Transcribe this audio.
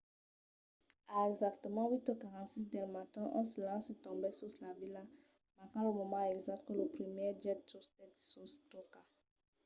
a exactament 8:46 del matin un silenci tombèt sus la vila marcant lo moment exacte que lo primièr jet tustèt sa tòca